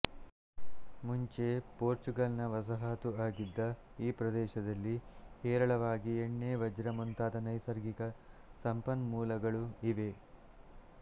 ಮುಂಚೆ ಪೋರ್ಚುಗಲ್ನ ವಸಾಹತು ಆಗಿದ್ದ ಈ ದೇಶದಲ್ಲಿ ಹೇರಳವಾಗಿ ಎಣ್ಣೆ ವಜ್ರ ಮುಂತಾದ ನೈಸರ್ಗಿಕ ಸಂಪನ್ಮೂಲಗಳು ಇವೆ